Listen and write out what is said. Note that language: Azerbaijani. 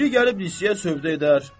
Biri gəlib lisiyə sövdə edər.